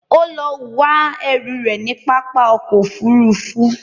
Ó lọ wá ẹrù rẹ̀ ní pápá ọkọ̀ Òfurufú